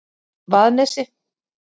Vaðnesi